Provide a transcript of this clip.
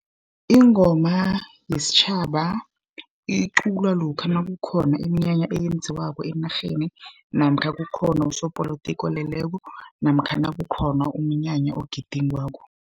Ingoma yesitjhaba iculwa lokha nakukhona iminyanya eyenziwako enarheni, namkha kukhona usopolotiki oleleko, namkha nakukhona umnyanya ogidingwako.